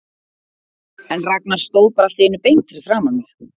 En Ragnar stóð bara allt í einu beint fyrir framan mig.